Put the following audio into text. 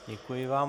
Děkuji vám.